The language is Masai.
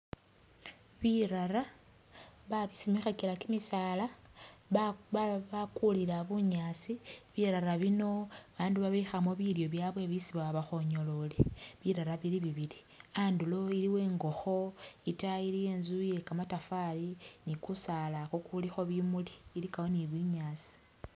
Birara bamisimikhakila kimisaala, ba ba bakulila bunyaasi, birara bino bandu babikhamo bilyo byabye bisi baba bakhonyolole, birara bili bibili, andulo iliwo ingokho, itaayi iliyo inzu ye kamatafari ni kusaala kukulikho bimuli, ilikawo ni binyaasi